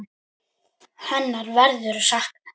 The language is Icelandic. Hennar verður saknað.